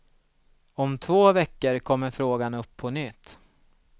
Om två veckor kommer frågan upp på nytt.